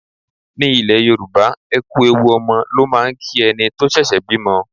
Ní ilẹ̀ Yorùbá, ẹ kú ewu ọmọ ló máà ń kí ẹni tó ṣẹ̀ṣẹ̀ bímọ.